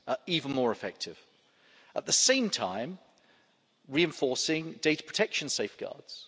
even more effective and, at the same time, reinforcing data protection safeguards.